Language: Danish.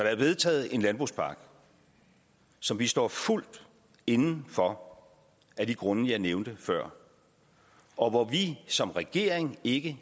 er vedtaget en landbrugspakke som vi står fuldt inde for af de grunde jeg nævnte før og hvor vi som regering ikke